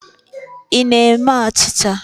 Ị na-ime achịcha?